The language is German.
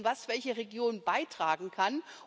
Wir müssen sehen, welche Region was beitragen kann.